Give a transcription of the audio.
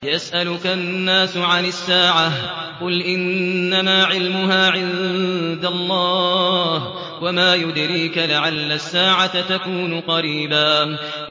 يَسْأَلُكَ النَّاسُ عَنِ السَّاعَةِ ۖ قُلْ إِنَّمَا عِلْمُهَا عِندَ اللَّهِ ۚ وَمَا يُدْرِيكَ لَعَلَّ السَّاعَةَ تَكُونُ قَرِيبًا